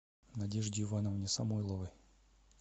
надежде ивановне самойловой